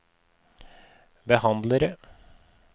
behandlere